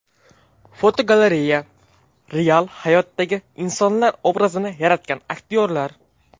Fotogalereya: Real hayotdagi insonlar obrazini yaratgan aktyorlar.